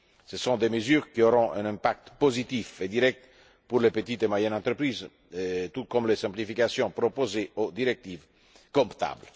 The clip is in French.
Ce sont des mesures qui auront un impact positif et direct pour les petites et moyennes entreprises, tout comme les simplifications proposées des directives comptables.